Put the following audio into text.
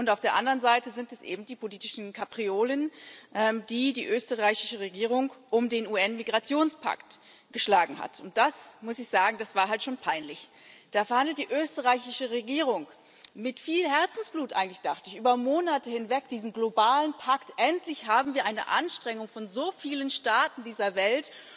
Und auf der anderen Seite sind es eben die politischen Kapriolen, die die österreichische Regierung um den UN Migrationspakt geschlagen hat, und das muss ich sagen war halt schon peinlich Da verhandelt die österreichische Regierung mit viel Herzblut eigentlich dachte ich über Monate hinweg diesen globalen Pakt. Endlich haben wir eine Anstrengung von so vielen Staaten dieser Welt,